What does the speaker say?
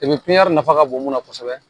nafa ka bon mun na kosɛbɛ